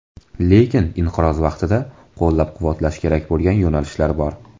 Lekin inqiroz vaqtida qo‘llab-quvvatlash kerak bo‘lgan yo‘nalishlar bor.